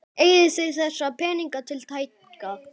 Eigið þið þessa peninga tiltæka?